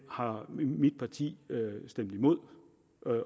har mit parti stemt imod